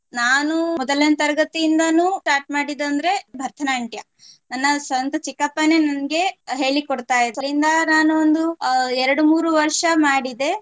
ನೃತ್ಯ. ನಾನು ಮೊದಲನೇ ತರಗತಿಯಿಂದಾನು start ಮಾಡಿದ್ದಂದ್ರೆ ಭರತನಾಟ್ಯ ನನ್ನ ಸ್ವಂತ ಚಿಕಪ್ಪನೇ ನಂಗೆ ಹೇಳಿ ಕೊಡ್ತಾ ಇದ್ರಿಂದ ನಾನು ಒಂದು ಎರಡು ಮೂರು ವರ್ಷ ಮಾಡಿದ್ದೆ